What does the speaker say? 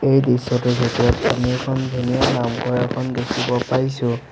এই দৃশ্যটোৰ ভিতৰত আমি এখন ধুনীয়া নামঘৰ এখন দেখিব পাইছোঁ।